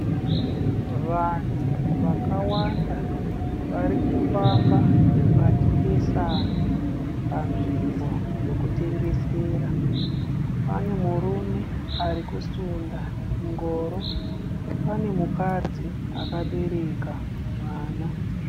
Vanhu vakawanda vari kufamba vachipesana panzvimbo yekutengesera, pane murume ari kusunda chingoro, pane mukadzi akabereka mwana.